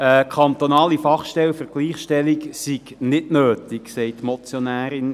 Eine kantonale Fachstelle für die Gleichstellung sei nicht nötig, sagt die Motionärin.